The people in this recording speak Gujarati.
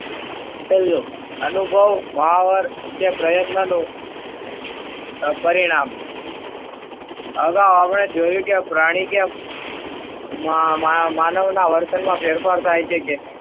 પેહલો અનુભવ માવર કે પ્રયત્નનો પરિણામ અગાઉં આપણે જોયું કે પ્રાણી કે માં~માનવના વર્તનમાં ફેરફાર થાય છે કે,